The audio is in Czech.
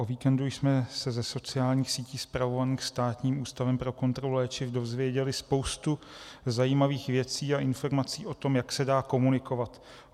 O víkendu jsme se ze sociálních sítí spravovaných Státním ústavem pro kontrolu léčiv dozvěděli spoustu zajímavých věcí a informací o tom, jak se dá komunikovat.